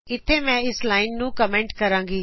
ਇਥੇ ਮੈਂ ਇਸ ਲਾਇਨ ਨੂੰ ਕਮੈਂਟ ਕਰਾਗੀ